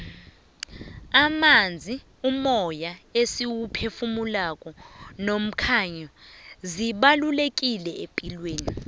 amanzi umoya esiwuphefumulako nomkhanyo zibalulekile epilweni